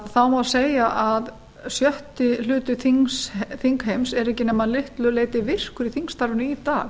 þá má segja að sjötti hluti þingheims er ekki nema að litlu leyti virkur í þingstarfinu í dag